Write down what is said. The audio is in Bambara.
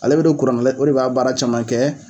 Ale bɛ don kuran na o de b'a baara caman kɛ